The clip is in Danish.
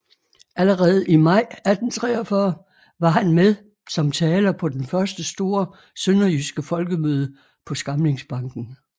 Allerede i maj 1843 var han med som taler på den første store sønderjyske folkemøde på Skamlingsbanken